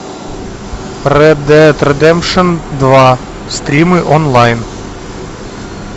ред дед редемпшн два стримы онлайн